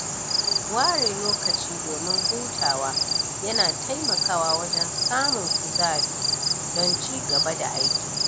ware lokaci domin hutawa ya na taimakawa wajen samun kuzari don ci gaba da aiki.